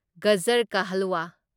ꯒꯖꯔ ꯀꯥ ꯍꯜꯋꯥ